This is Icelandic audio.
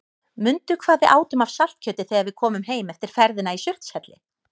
Mundu hvað við átum af saltkjöti þegar við komum heim eftir ferðina í Surtshelli.